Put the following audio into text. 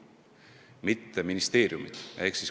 Seda ei tee ministeeriumid.